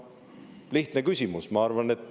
Lihtne küsimus!